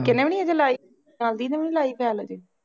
ਗਿੱਕੇ ਨੇ ਵੀ ਹਜੇ ਲਾਈ, ਨਾਲ ਦੀ ਨੇ ਵੀ ਲਾਈ file ਹਜੇ